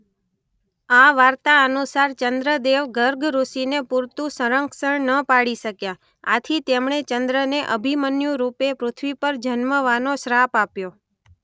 આ વાર્તા અનુસાર ચંદ્રદેવ ગર્ગ ઋષિને પૂરતું સંરક્ષણ ન પાડી શક્યા આથી તેમણે ચંદ્રને અભિમન્યુ રૂપે પૃથ્વી પર જન્મવાનો શ્રાપ આપ્યો.